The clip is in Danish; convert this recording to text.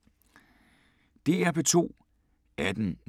DR P2